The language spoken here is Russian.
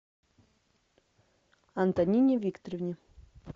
антонине викторовне